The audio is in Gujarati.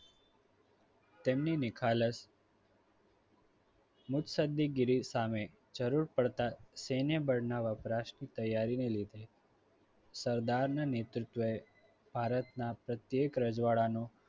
તેમની નિખાલસ મુખસદગીરી સામે જરૂર પડતા સેનેબળના વપરાશ ની તૈયારી ને લીધે સરદારના નેતૃત્વએ ભારતના પ્રત્યેક રજવાડાનું